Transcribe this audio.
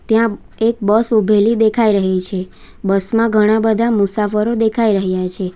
ત્યાં એક બસ ઉભેલી દેખાઈ રહી છે બસમાં ઘણા બધા મુસાફરો દેખાઈ રહ્યા છે.